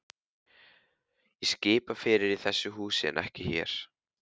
THEODÓRA: Ég skipa fyrir í þessu húsi en ekki þér.